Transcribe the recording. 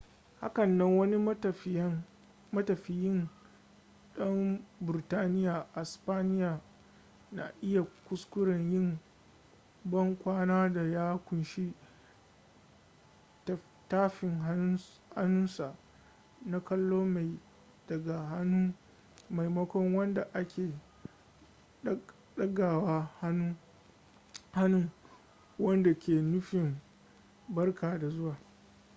hakanan wani matafiyin dan burtaniya a spaniya na iya kuskuren yin ban kwana da ya kunshi tafin hannunsa na kallo mai daga hannun maimakon wanda ake dagawa hannun wadda ke nufin barka da zuwa